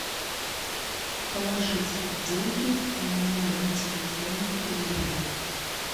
положить деньги на номер телефона ульяны